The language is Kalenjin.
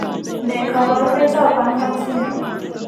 Ne kaabarunetap Hanhart syndrome?